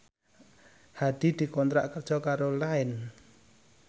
Hadi dikontrak kerja karo Line